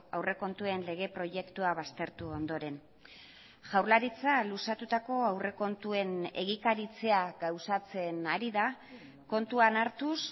aurrekontuen lege proiektua baztertu ondoren jaurlaritza luzatutako aurrekontuen egikaritzea gauzatzen ari da kontuan hartuz